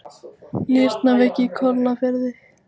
Nýrnaveiki í Kollafirði